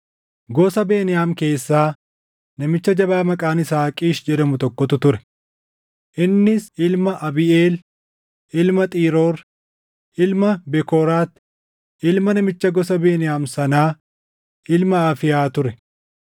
Gosa Beniyaam keessaa namicha jabaa maqaan isaa Qiish jedhamu tokkotu ture; innis ilma Abiiʼeel, ilma Xiroor, ilma Bekooraat, ilma namicha gosa Beniyaam sanaa ilma Afiiyaa ture.